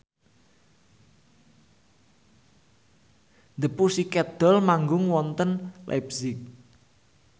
The Pussycat Dolls manggung wonten leipzig